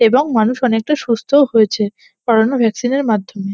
এবং মানুষ অনেকটা সুস্থও হয়েছে করোনা ভ্যাকসিন এর মাধ্যমে।